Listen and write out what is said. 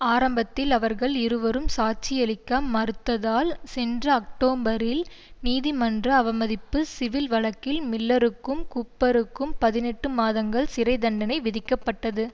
ஆரம்பத்தில் அவர்கள் இருவரும் சாட்சி அளிக்க மறுத்ததால் சென்ற அக்டோபரில் நீதிமன்ற அவமதிப்பு சிவில் வழக்கில் மில்லருக்கும் கூப்பருக்கும் பதினெட்டு மாதங்கள் சிறை தண்டனை விதிக்கப்பட்டது